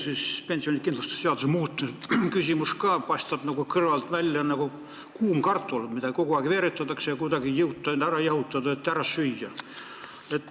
See pensionikindlustuse seaduse muutmise küsimus paistab kõrvalt välja nagu kuum kartul, mida kogu aeg peos veeretatakse ja kuidagi ei saada maha jahutatud, et ära süüa.